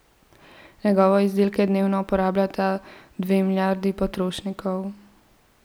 Njegove izdelke dnevno uporabljata dve milijardi potrošnikov.